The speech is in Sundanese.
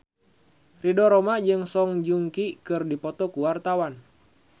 Ridho Roma jeung Song Joong Ki keur dipoto ku wartawan